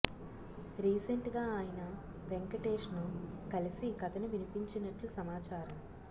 recent గా ఆయన వెంకటేశ్ ను కలిసి కథను వినిపించినట్టు సమాచారం